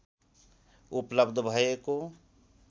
उपलब्ध भएको